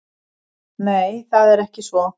Nei, það er ekki svo.